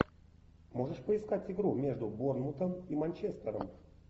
можешь поискать игру между борнмутом и манчестером